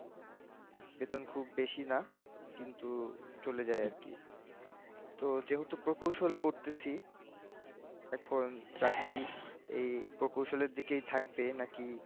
বেতন খুব বেশি না, কিন্তু চলে যায় আর কি, তো যেহেতু প্রকৌশল পরতেছি, এখন চাকরি এই প্রকৌশলের দিকেই থাকবে নাকি?